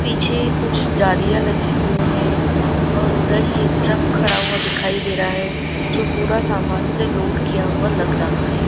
पीछे कुछ जालियां लगी हुई है और उधर ये ट्रक खड़ा हुआ दिखाई दे रहा है जो पूरा सामान से लोड किया हुआ लग रहा है।